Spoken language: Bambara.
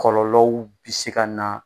Kɔlɔlɔw bi se ka na